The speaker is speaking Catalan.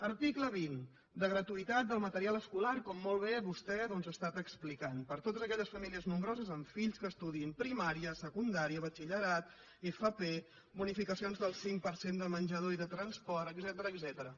article vint de gratuïtat del material escolar com molt bé vostè doncs ha estat explicant per a totes aquelles famílies nombroses amb fills que estudiïn primària secundària batxillerat fp bonificacions del cinc per cent de menjador i de transport etcètera